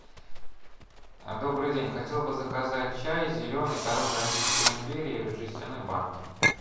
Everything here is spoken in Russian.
добрый день хотел бы заказать чай зеленый корона российской империи в жестяной банке